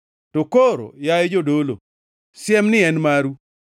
“To koro, yaye jodolo, siemni en maru.